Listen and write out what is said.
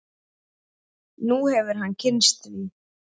Nú hefur hann kynnst því.